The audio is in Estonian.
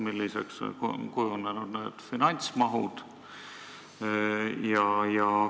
Milliseks on kujunenud finantsmahud?